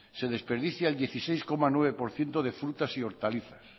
se desperdicia el dieciséis coma nueve por ciento de frutas y hortalizas